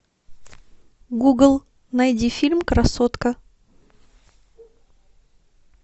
гугл найди фильм красотка